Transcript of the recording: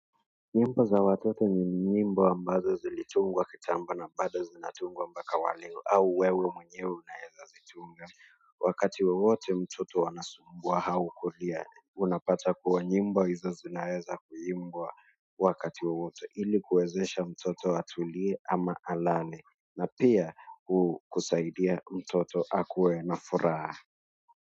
Nyimbo za watoto ni nyimbo ambazo zilitungwa kitambo na bado zinatungwa mpaka waleo au wewe mwenye unaeza zitunga. Wakati wowote mtoto anasumbua au kulia, unapata kuwa nyimbo hizo zinaeza kuimbwa wakati wowote ili kuwezesha mtoto atulie ama alale na pia kusaidia mtoto akuwe na furaha.